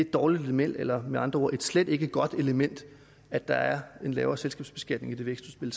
dårligt element eller med andre ord et slet ikke godt element at der er en lavere selskabsbeskatning i det vækstudspil